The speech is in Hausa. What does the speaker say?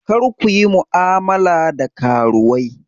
Kar ku yi mu'amala da karuwai!